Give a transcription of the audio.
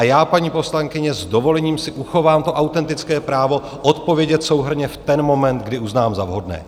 A já, paní poslankyně, s dovolením si uchovám to autentické právo odpovědět souhrnně v ten moment, kdy uznám za vhodné.